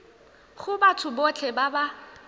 go batho botlhe ba ba